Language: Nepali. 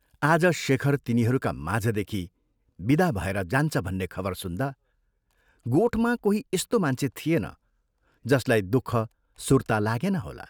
आज शेखर तिनीहरूका माझदेखि विदा भएर जान्छ भन्ने खबर सुन्दा गोठमा कोही यस्तो मान्छे थिएन जसलाई दुःख सुर्ता लागेन होला।